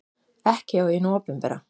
Ekki hjá hinu opinbera.